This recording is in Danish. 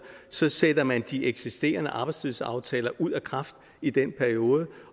så sætter man de eksisterende arbejdstidsaftaler ud af kraft i den periode